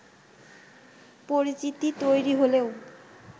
পরিচিতি তৈরি হলেও